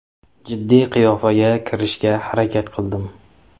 Jiddiy qiyofaga kirishga harakat qildim.